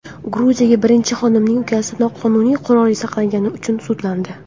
Gruziya birinchi xonimining ukasi noqonuniy qurol saqlagani uchun sudlandi.